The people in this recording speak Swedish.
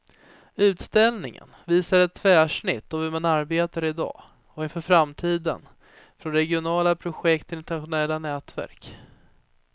Utställningen visar ett tvärsnitt av hur man arbetar i dag och inför framtiden, från regionala projekt till internationella nätverk.